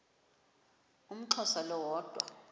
umxhosa lo woda